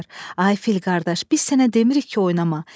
Ay fil qardaş, biz sənə demirik ki, oynama.